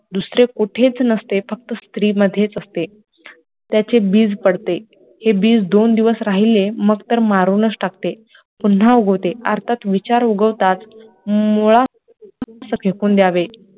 दुसरे कुठेच नसते फक्त स्त्री मधेच असते. त्याचे बीज पडते, हे बीज दोन दिवस राहिले मग तर मारूनच टाकते पुन्हा उगवते, अर्थात विचार उगवतात मुळा फेकून द्यावे.